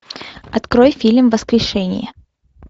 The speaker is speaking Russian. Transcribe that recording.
открой фильм воскрешение